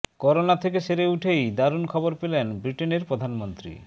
corona থেকে সেরে উঠেই দারুণ খবর পেলেন ব্রিটেনের প্রধানমন্ত্রী